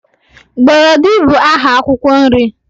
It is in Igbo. Gbọrọdị bụ aha akwụkwọ nri.